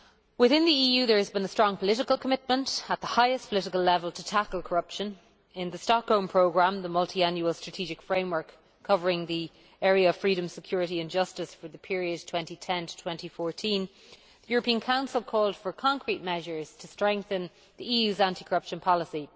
Within the EU there has been a strong political commitment at the highest political level to tackle corruption. In the Stockholm Programme, the multiannual strategic framework covering the area of freedom, security and justice for the period 2012 to 2014, the European Council called for concrete measures to strengthen the EU's anti corruption policy.